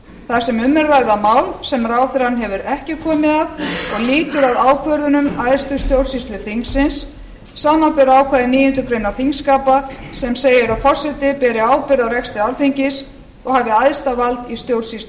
þar sem um er að ræða mál sem ráðherrann hefur ekki komið að og lýtur að ákvörðunum æðstu stjórnsýslu þingsins samanber ákvæði níundu grein þingskapa sem segir að forseti beri ábyrgð á rekstri alþingis og hafi æðsta vald í stjórnsýslu þessi ég